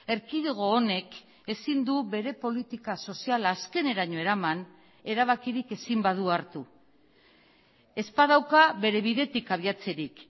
erkidego honek ezin du bere politika soziala azkeneraino eraman erabakirik ezin badu hartu ez badauka bere bidetik abiatzerik